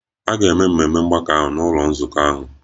A ga-eme ememe mgbakọ ahụ n'ụlọ nzukọ ahụ.